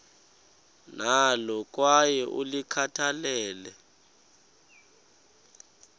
nalo kwaye ulikhathalele